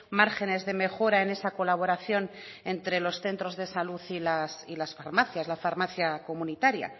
márgenes de mejora en esa colaboración entre los centros de salud y las farmacias la farmacia comunitaria